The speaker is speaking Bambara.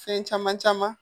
Fɛn caman caman